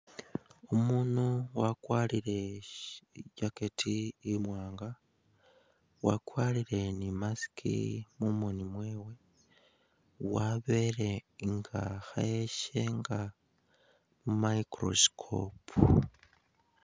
Umundu wakwarile shii i'jackect imwanga , wakwarile ni'mask mumooni mwewe wabele nga khayeshenga mu'microscope